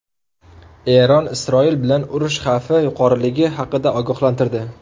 Eron Isroil bilan urush xavfi yuqoriligi haqida ogohlantirdi.